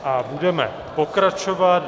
A budeme pokračovat.